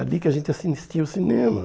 É ali que a gente assistia ao cinema.